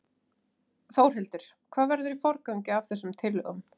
Þórhildur: Hvað verður í forgangi af þessum tillögum?